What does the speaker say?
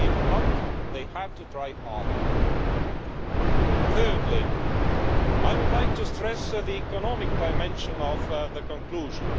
if not, they have to try harder. Thirdly, I would like to stress the economic dimension of the conclusions.